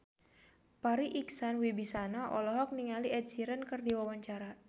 Farri Icksan Wibisana olohok ningali Ed Sheeran keur diwawancara